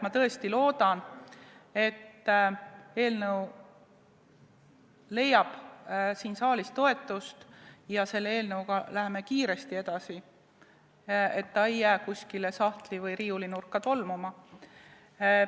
Ma tõesti loodan, et eelnõu leiab siin saalis toetust ja me läheme sellega kiiresti edasi, et see ei jää kuskile sahtli- või riiulinurka tolmuma.